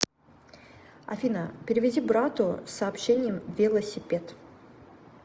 афина переведи брату с сообщением велосипед